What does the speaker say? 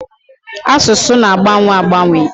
Asụsụ na-agbanwe agbanwe.